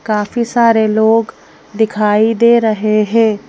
काफी सारे लोगदिखाई दे रहे हैं ।